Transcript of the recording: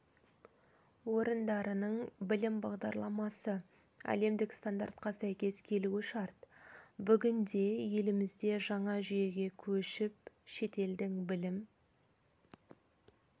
орындарының білім бағдарламасы әлемдік стандартқа сәйкес келуі шарт бүгінде елімізде жаңа жүйеге көшіп шетелдің білім